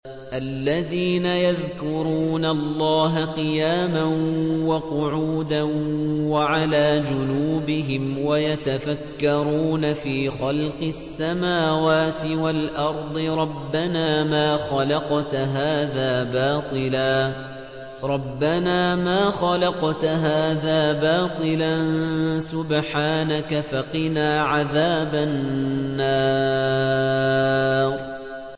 الَّذِينَ يَذْكُرُونَ اللَّهَ قِيَامًا وَقُعُودًا وَعَلَىٰ جُنُوبِهِمْ وَيَتَفَكَّرُونَ فِي خَلْقِ السَّمَاوَاتِ وَالْأَرْضِ رَبَّنَا مَا خَلَقْتَ هَٰذَا بَاطِلًا سُبْحَانَكَ فَقِنَا عَذَابَ النَّارِ